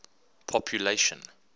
population